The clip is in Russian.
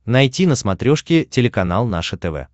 найти на смотрешке телеканал наше тв